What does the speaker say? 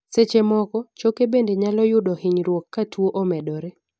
seche moko, choke bende nyalo yudo hinyruok ka tuo omedore